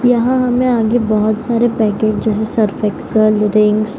यहाँ हमे आगे बहुत सारे पैकेट जैसे सर्फ एक्सेल रिंस --